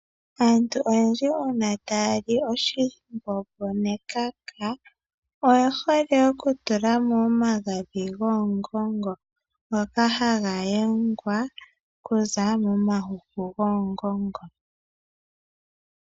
Aantu oyendji uuna taya li oshimbombo nekaka oye hole okutula mo omagadhi goongongo ,ngoka haga yengwa okuza momahuku goongongo.